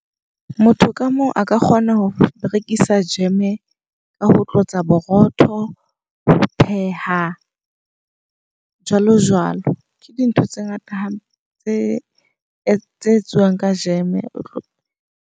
Motho ka mong a ka kgona ho berekisa jeme ka ho tlotsa borotho, ho pheha jwalo jwalo. Ke dintho tse ngata hampe tse tse etsuwang ka jeme.